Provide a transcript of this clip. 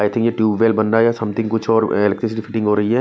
आई think ये tube well बन रहा है या समथिंग कुछ और इलेक्ट्रिसिटी फिटिंग हो रही है।